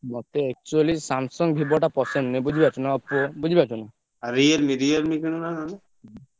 ମତେ actually Samsung, Vivo ଟା ପସନ୍ଦ ନୁହଁ ବୁଝିପାରୁଛନା